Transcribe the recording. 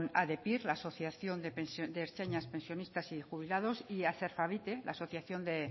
adepyr asociación de ertzainas pensionistas y jubilados y aserfavite asociación de